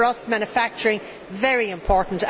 For us, manufacturing is very important.